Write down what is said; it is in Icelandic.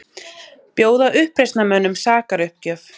Bjóða uppreisnarmönnum sakaruppgjöf